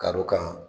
Kadɔw kan